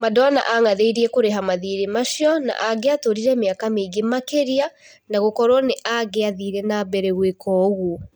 Madona ang'athĩirie kũrĩha mathirĩ macio, na angiatũrire mĩaka mĩingĩ makĩria, no gukorwo nĩ angĩathire nambere gũĩka ũguo.